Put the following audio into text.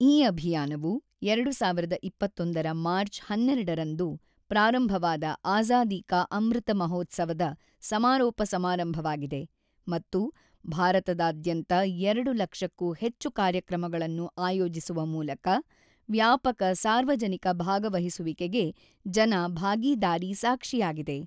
ಈ ಅಭಿಯಾನವು 2021 ರ ಮಾರ್ಚ್ 12 ರಂದು ಪ್ರಾರಂಭವಾದ ಆಜಾದಿ ಕಾ ಅಮೃತ್ ಮಹೋತ್ಸವ ದ ಸಮಾರೋಪ ಸಮಾರಂಭವಾಗಿದೆ ಮತ್ತು ಭಾರತದಾದ್ಯಂತ 2 ಲಕ್ಷಕ್ಕೂ ಹೆಚ್ಚು ಕಾರ್ಯಕ್ರಮಗಳನ್ನು ಆಯೋಜಿಸುವ ಮೂಲಕ ವ್ಯಾಪಕ ಸಾರ್ವಜನಿಕ ಭಾಗವಹಿಸುವಿಕೆಗೆ ಜನ ಭಾಗೀದಾರಿ ಸಾಕ್ಷಿಯಾಗಿದೆ.